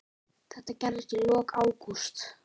Þetta gerðist í lok ágúst.